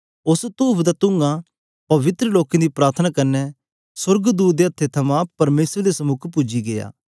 उस्स तूफ दा तुंआ पवित्र लोकें दी प्रार्थना कन्ने सोर्गदूत दे हत्थे थमां परमेसर दे समुक पूजी गीया